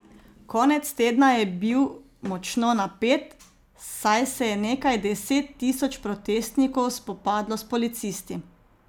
Konec tedna je bil močno napet, saj se je nekaj deset tisoč protestnikov spopadlo s policisti.